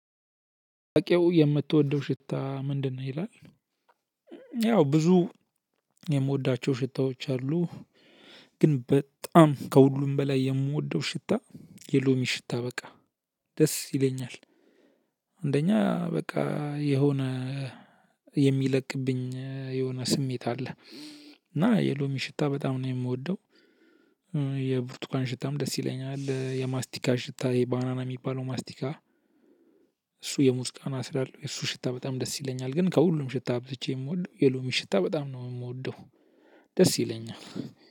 በቂው የምትወደው ሽታ ምንድነው? ይላል ያው ብዙ የምወዳቸው ሽታዎች አሉ። ግን በጣም ከሁሉም በላይ የምወደው ሽታ የሎሚ ሽታ በቃ ደስ ይለኛል። አንደኛ በቃ የሆነ የሚለቅብኝ የሆነ ስሜት አለ። እና የሎሚ ሽታ በጣም ነው የምወደው። የብርቱካን ሽታም ደስ ይለኛል የማስቲካ ሽታ የባናና የሚባለው ማስቲካ። እሱ የሙዝ ቃና ስላለው የሱ ሽታ በጣም ደስ ይለኛል። ግን ከሁሉም ሽታ አብልጬ የምወደው የሎሚ ሽታ በጣም ነው እምወደው። ደስ ይለኛል።